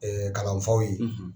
kalanfaw ye.